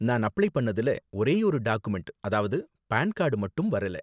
நான் அப்ளை பண்ணதுல ஒரேயொரு டாக்குமெண்ட், அதாவது பான் கார்டு மட்டும் வரல.